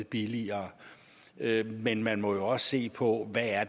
billigere men man må jo også se på hvad det er